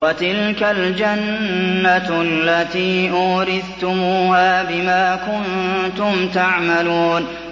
وَتِلْكَ الْجَنَّةُ الَّتِي أُورِثْتُمُوهَا بِمَا كُنتُمْ تَعْمَلُونَ